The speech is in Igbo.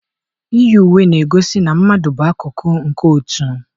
Iyi uwe na-egosi na mmadụ bụ akụkụ nke otu.